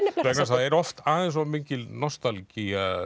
er oft aðeins of mikil nostalgía